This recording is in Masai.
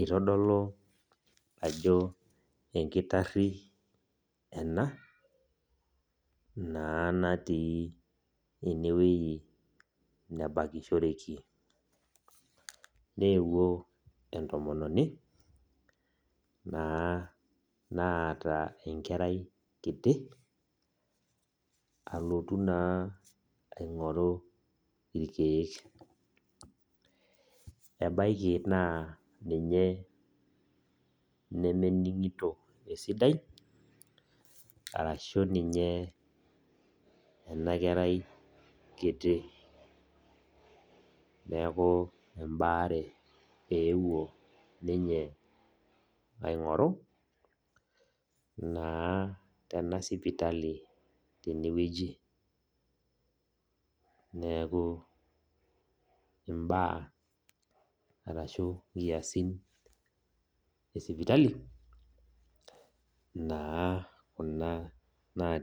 Itodolu ajo enkitarri ena, naa natii enewei nebakishoreki. Neewuo entomononi, naa naata enkerai kiti, alotu naa aing'oru irkeek. Ebaiki naa ninye nemening'ito esidai, arashu ninye ena kerai kiti. Neeku ebaare eewuo ninye aing'oru, naa tena sipitali tenewueji. Neeku imbaa arashu inkiasin esipitali, naa kuna